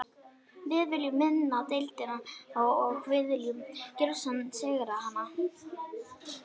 Við viljum vinna deildina og við viljum gjörsigra hana.